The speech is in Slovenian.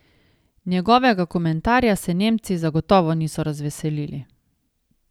Njegovega komentarja se nemci zagotovo niso razveselili.